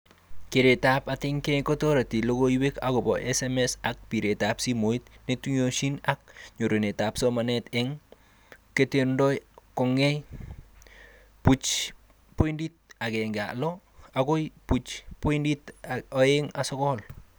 Keretab atkei kotoreti logoiwo akobo SMS ak biritab simoit neituyisot ak nyorunetab somanet eng kerkeindoi kongekei 0.16 akoi 0.29